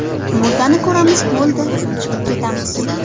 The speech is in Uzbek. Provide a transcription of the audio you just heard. Murdani ko‘ramiz, bo‘ldi, chiqib ketamiz.